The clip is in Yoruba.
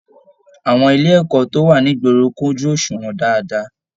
Àwọn ilé ẹ̀kọ́ tó wà nigboro kojú oṣuwọn dáadáa.